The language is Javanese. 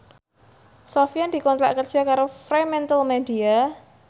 Sofyan dikontrak kerja karo Fremantlemedia